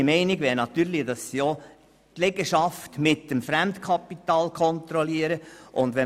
Meine Meinung ist, dass sie natürlich auch die Liegenschaften mit dem Fremdkapital kontrollieren sollte.